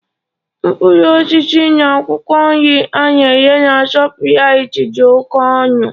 Mkpụrụ osisi na akwụkwọ nri a na-ere na Shoprite dị oke ọnụ.